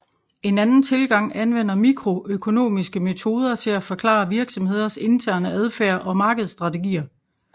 En anden tilgang anvender mikroøkonomiske metoder til at forklare virksomheders interne adfærd og markedsstrategier